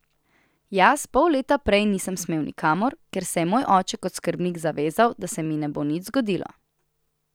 Jaz pol leta prej nisem smel nikamor, ker se je moj oče kot skrbnik zavezal, da se mi ne bo nič zgodilo.